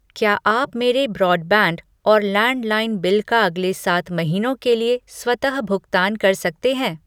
क्या आप मेरे ब्रॉडबैंड और लैंडलाइन बिल का अगले सात महीनों के लिए स्वतः भुगतान कर सकते हैं?